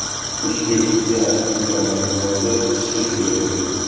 Ustyurt gaz-kimyo majmuasi ishga tushirildi.